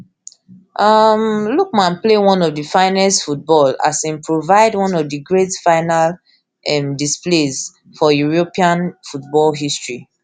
um lookman play one of di finest football as im provide one of di great final um displays for european football history